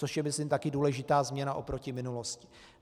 Což je, myslím, taky důležitá změna oproti minulosti.